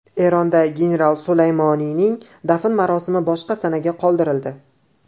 Eronda general Sulaymoniyning dafn marosimi boshqa sanaga qoldirildi.